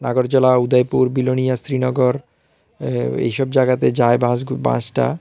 বরজলা উদয়পুর বিলোনিয়া শ্রীনগর এ এইসব জায়গাতে যায় বাসগু বাসটা ।